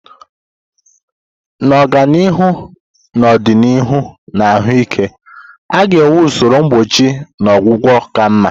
Na ọganihu n'ọdịnihu na ahụike, a ga-enwe usoro mgbochi na ọgwụgwọ ka mma.